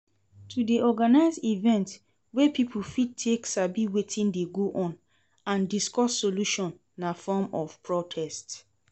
To de organise event wey pipo fit take sabi wetin de go on and discuss solutions na form of protest